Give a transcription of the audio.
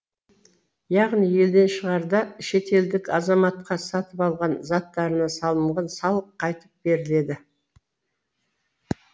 яғни елден шығарда шетелдік азаматқа сатып алған заттарына салынған салық қайтып беріледі